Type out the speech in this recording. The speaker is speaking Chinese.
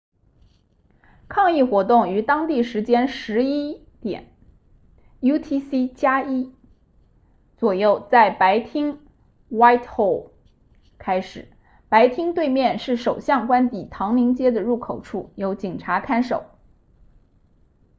抗议活动于当地时间 11:00 utc+1 左右在白厅 whitehall 开始白厅对面是首相官邸唐宁街的入口处由警察看守